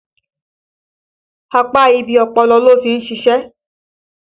Apá ibi ọpọlọ ló fi ṣìṣe